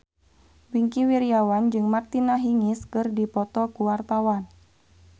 Wingky Wiryawan jeung Martina Hingis keur dipoto ku wartawan